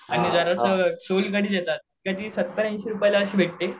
आणि जराशी सोनकधी देतात सत्तर ऐंशी रुपयाला भेटते.